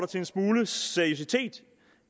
til en smule seriøsitet